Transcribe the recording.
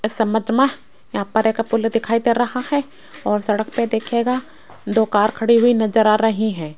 इस इमेज में यहां पर एक पूल दिखाई दे रहा है और सड़क पर देखिएगा दो कार खड़ी हुई नजर आ रही हैं।